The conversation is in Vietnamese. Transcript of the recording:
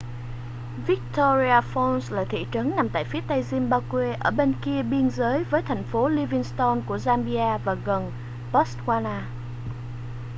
victoria falls là thị trấn nằm tại phía tây zimbabwe ở bên kia biên giới với thành phố livingstone của zambia và gần botswana